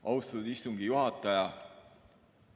Austatud istungi juhataja!